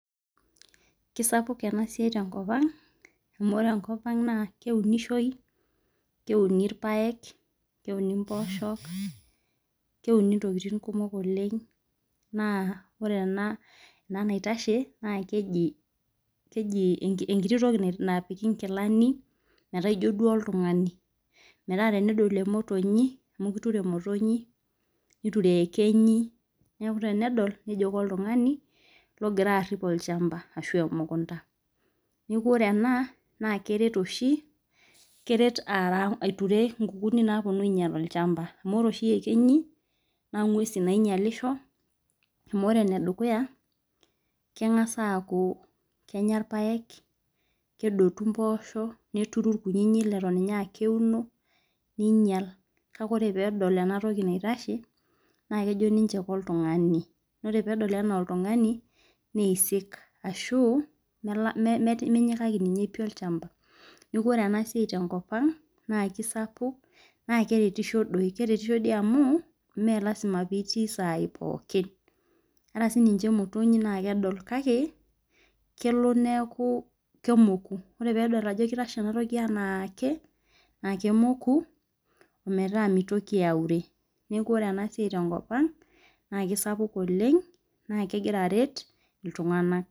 Kisapuk ena siai tenkop ang amu ore enkop Ang naa kewunishoi keuni orpaek keuni mposhok keuni ntokitin kumok oleng naa ore ena naitashe naa keji enkitoki naapiki nkilani meeta duo ijo oltung'ani metaa tenodol emotonyi amu kitore motonyi niture eyekenyi neeku tenedol nejo koltung'ani logira arip shamba arashu emukunda nekuu ore ena keret oshi aiture nkukuni naapuonu ainyial shamba amu ore oshi eyekenyi naa nguesi nainyialisho amu ore ene dukuya kenga'as aaku kenyaa irpaek kedotu mboshok neturu irkutiti leton ninye aa keuno niyial kake ore pedol ena toki naitashe naa kejo ninje koltung'ani ore pedol enaa oltung'ani neisik ashuu menyikaki ninye pii shamba neeku ore ena siai tenkop ang naa kisapuk naa keretisho doi keretisho doi amu mmee lazima pitii sai pokin ore sininje motonyi naa kedol kake kelo neeku kemoku ore peyie edol Ajo kitashe enatoki enake naa kemoku ometaa mitoki aure neeku ore ena siai tenkop ang naa kisapuk oleng naa kegira aret iltung'ana